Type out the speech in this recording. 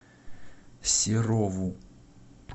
серову